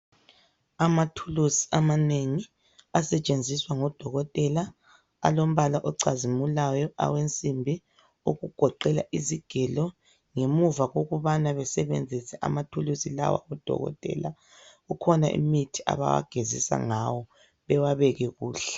Amathulusi amanengi asetshenziswa ngodokotela, alombala ocazimulayo, awensimbi okugoqela izigelo. Ngemuva kokubana basebenzise amathulusi lawa, odokotela kukhona imithi abawagezisa ngayo bewabeke kuhle.